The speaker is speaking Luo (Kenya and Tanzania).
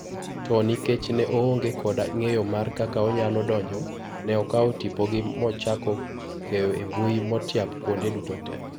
To nikech ne oonge kod ngeyo mar kaka onyalo donjo ,ne okaw tipogi mochako keyo embui motiap kuonde duto te.